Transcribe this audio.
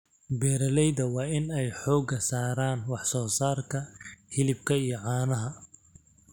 Beeralayda waa in ay xooga saaraan wax soo saarka hilibka iyo caanaha.